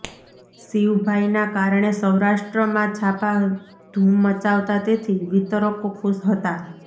શિવભાઈના કારણે સૌરાષ્ટ્રમાં છાપાં ધૂમ મચાવતાં તેથી વિતરકો ખુશ હતા